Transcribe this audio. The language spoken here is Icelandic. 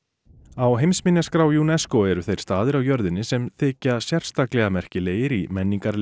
á heimsminjaskrá UNESCO eru þeir staðir á jörðinni sem þykja sérstaklega merkilegir í menningarlegu